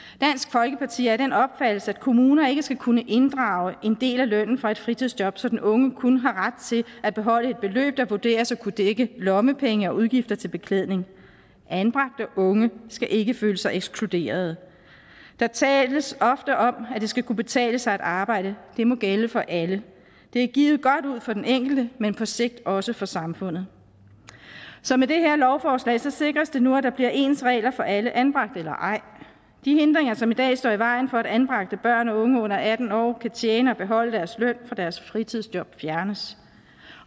folkeparti er af den opfattelse at kommuner ikke skal kunne inddrage en del af lønnen for et fritidsjob så den unge kun har ret til at beholde et beløb der vurderes at kunne dække lommepenge og udgifter til beklædning anbragte unge skal ikke føle sig ekskluderet der tales ofte om at det skal kunne betale sig at arbejde det må gælde for alle det er givet godt ud for den enkelte men på sigt også for samfundet så med det her lovforslag sikres det nu at der bliver ens regler for alle anbragte eller ej de hindringer som i dag står i vejen for at anbragte børn og unge under atten år kan tjene og beholde deres løn for deres fritidsjob fjernes